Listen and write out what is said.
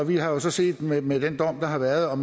vi har jo så set med med den dom der har været og